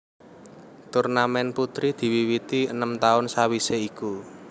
Turnamèn putri diwiwiti enem taun sawisé iku